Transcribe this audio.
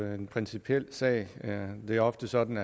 jo en principiel sag det er ofte sådan